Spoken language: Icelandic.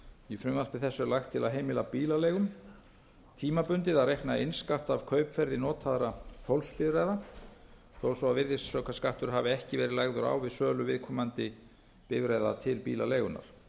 í frumvarpi þessu er lagt til að heimila bílaleigum tímabundið að reikna innskatt af kaupverði notaðra fólksbifreiða þó svo að virðisaukaskattur hafi ekki verið lagður á við sölu viðkomandi bifreiða til bílaleigunnar